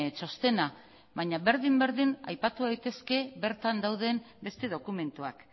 txostena baina berdin berdin aipatu daitezke bertan dauden beste dokumentuak